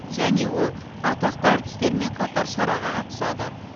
және ол атақты әртістермен қатар шараға қатысады